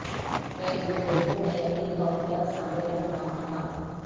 میں ایک دوسرے کو میکانی طور پر سامنے رکھ رہا تھا